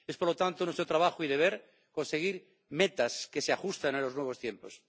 Es por lo tanto nuestro trabajo y deber conseguir metas que se ajusten a los nuevos tiempos.